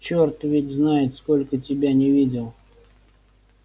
чёрт ведь знает сколько тебя не видел